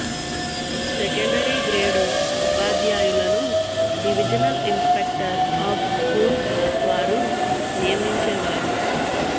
secondary grade ఉపాధ్యాయులను divisional inspector of schools వారు నియమించేవారు